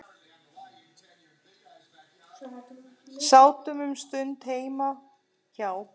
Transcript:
Sátum um stund heima hjá